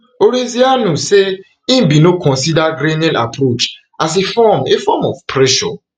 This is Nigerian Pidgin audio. hurezeanu say e bin no consider grenell approach as a form a form of pressure